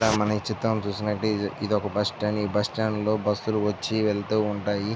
ఇక్కడ మనం ఈ చిత్రం చూసుకోనట్లయితే ఒక బస్ స్టాండ్ . ఈ బస్సు స్టాండ్ లో బస్ లు వచ్చి వెళ్తూ ఉంటాయి.